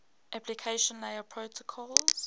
application layer protocols